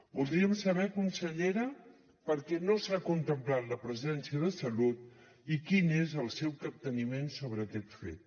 voldríem saber consellera per què no s’ha contemplat la presència de salut i quin és el seu capteniment sobre aquest fet